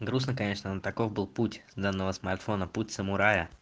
грустно конечно но таков был путь данного смартфона путь самурая